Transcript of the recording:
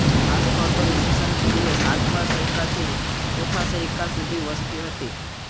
આ સ્થળ પર ઈ સ પૂર્વે સાતમા સૈકાથી ચોથા સૈકા સુધી વસ્તી હતી